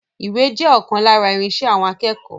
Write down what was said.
Ìwé jẹ́ ọkan lára irinṣẹ́ àwọn akẹ́kọ̀ọ́.